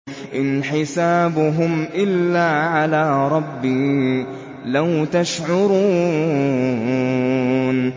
إِنْ حِسَابُهُمْ إِلَّا عَلَىٰ رَبِّي ۖ لَوْ تَشْعُرُونَ